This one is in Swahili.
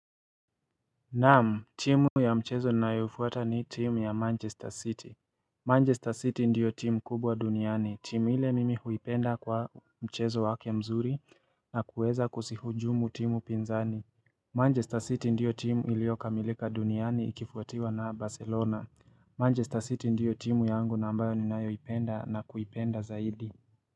Naam, timu ya mchezo ninayofuata ni timu ya Manchester City. Manchester City ndiyo timu kubwa duniani. Timu ile mimi huipenda kwa mchezo wake mzuri na kuweza kuzihujumu timu pinzani. Manchester City ndiyo timu iliyokamilika duniani ikifuatiwa na Barcelona. Manchester City ndiyo timu yangu na ambayo ninayoipenda na kuipenda zaidi.